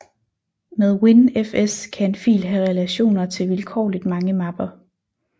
Med WinFS kan en fil have relationer til vilkårligt mange mapper